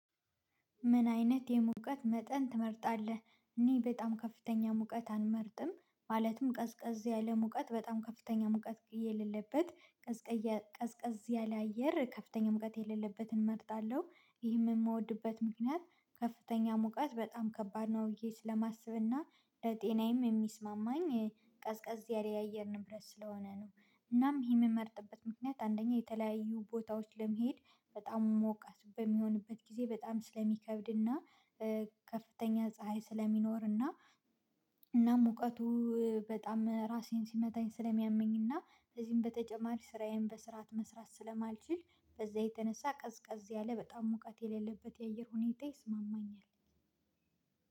ምን አይነት የሙቀት መጠን ትመርጣለህ? እኔ በጣም ከፍተኛ ሙቀት አልመርጥም። ማለትም ቀዝቀዝ ያለ ሙቀት በጣም ከፍተኛ ሙቀት የሌለበት ቀዝቀዝ ቀዝቀዝ ያለ አየር ከፍተኛ ሙቀት የሌለበትን እመርጣለሁ። ይሄ የምወድበት ምክንያት ከፍተኛ ሙቀት በጣም ከባድ ነው ብዬ ስለማስብና ጤናዬም የሚስማማኝ ቀዝቃዝ ያለ የአየር ንብረት ስለሆነ ነው። እናም ይሄ የምመርጥበት ምክንያት አንደኛ የተለያዩ ቦታዎች ለመሄድ በጣም ሞቃት በሚሆንበት ጊዜ በጣም ስለሚከብድና ከፍተኛ ፀሀይ ስለሚኖርና እና ሙቀቱ በጣም ራሴን ሲመታኝ ስለሚያመኝና እንደዚህም በተጨማሪ ስራዬን በስርዓት መስራት ስለማልችል በዛ የተነሳ ቀዝቃዝ ያለ በጣም ሙቀት የሌለበት የአየር ሁኔታ ይስማማኛል።